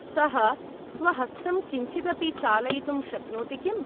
सः स्वहस्तं किञ्चिदपि चालयितुं शक्नोति किम्?